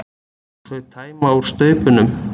Og þau tæma úr staupunum.